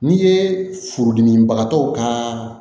N'i ye furudimibagatɔ kaaa